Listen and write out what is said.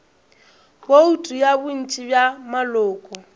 bouto ya bontši bja maloko